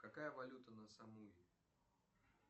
какая валюта на самуи